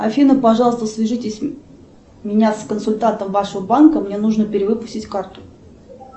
афина пожалуйста свяжитесь меня с консультантом вашего банка мне нужно перевыпустить карту